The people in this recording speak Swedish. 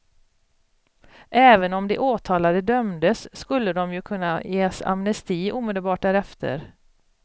Även om de åtalade dömdes, skulle de ju kunna ges amnesti omedelbart därefter.